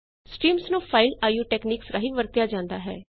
streams ਨੂੰ file io techniques ਰਾਹੀਂ ਵਰਤਿਆ ਜਾਂਦਾ ਹੈ